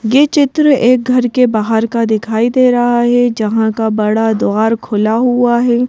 ये चित्र एक घर के बाहर का दिखाई दे रहा है जहां का बड़ा द्वार खुला हुआ है।